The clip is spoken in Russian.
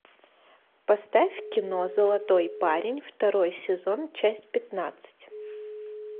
поставь кино золотой парень второй сезон часть пятнадцать